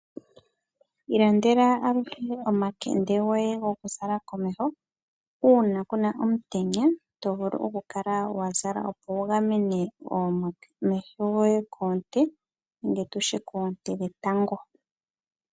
Ilandela aluhe omakende goye gokuzala komeho uuna ku na omutenya to vulu okukala wa zala, opo wu gamene omeho goye koonte dhetango.